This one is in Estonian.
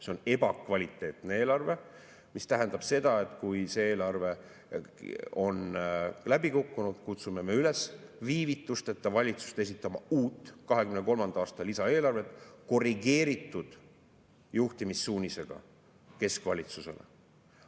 See on ebakvaliteetne eelarve, mis tähendab seda, et kui see eelarve on läbi kukkunud, kutsume üles valitsust viivitusteta esitama uut 2023. aasta lisaeelarvet korrigeeritud juhtimissuunisega keskvalitsusele.